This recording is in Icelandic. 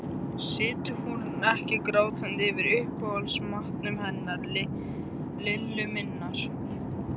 Situr hún ekki grátandi yfir uppáhaldsmatnum hennar Lillu minnar